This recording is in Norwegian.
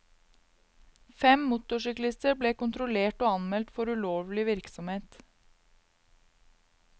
Fem motorsyklister ble kontrollert og anmeldt for ulovlig virksomhet.